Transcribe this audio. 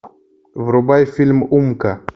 врубай фильм умка